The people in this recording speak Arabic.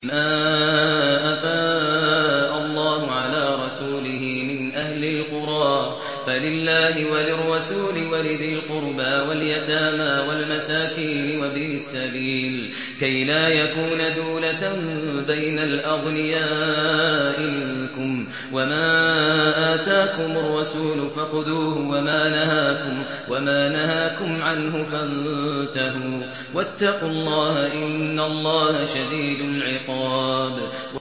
مَّا أَفَاءَ اللَّهُ عَلَىٰ رَسُولِهِ مِنْ أَهْلِ الْقُرَىٰ فَلِلَّهِ وَلِلرَّسُولِ وَلِذِي الْقُرْبَىٰ وَالْيَتَامَىٰ وَالْمَسَاكِينِ وَابْنِ السَّبِيلِ كَيْ لَا يَكُونَ دُولَةً بَيْنَ الْأَغْنِيَاءِ مِنكُمْ ۚ وَمَا آتَاكُمُ الرَّسُولُ فَخُذُوهُ وَمَا نَهَاكُمْ عَنْهُ فَانتَهُوا ۚ وَاتَّقُوا اللَّهَ ۖ إِنَّ اللَّهَ شَدِيدُ الْعِقَابِ